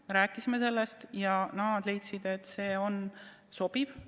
Me rääkisime sellest ja nad leidsid, et see on sobiv.